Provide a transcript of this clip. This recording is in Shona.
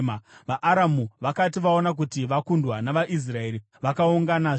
VaAramu vakati vaona kuti vakundwa navaIsraeri, vakaunganazve.